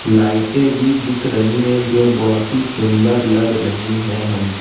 लाइटें भी दिख रही है जो बहोत ही सुंदर लग रही है हम--